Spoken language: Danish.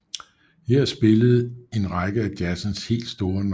Her spillede en række af jazzens helt store navne